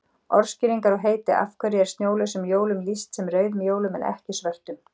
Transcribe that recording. Orðskýringar og heiti Af hverju er snjólausum jólum lýst sem rauðum jólum en ekki svörtum?